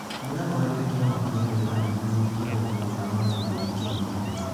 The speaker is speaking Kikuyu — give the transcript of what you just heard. Nĩ ahoete kĩ ama gĩ a ethari ngũĩ kĩ a ũrũmwe wa mabũrũri kĩ magitĩ re.